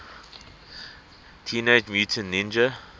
teenage mutant ninja